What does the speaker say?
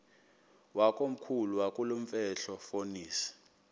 wakomkhulu wakulomfetlho fonis